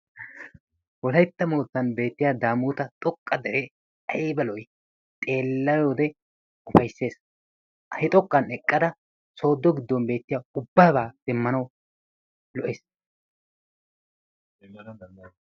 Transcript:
Wolaytta moottan beettiya Daamoota xoqqa deree ayba lo'ii? Xeelliyode ufayssees. He xoqqan eqqada sooddo giddon beettiya ubbabaa demmanawu lo'ees.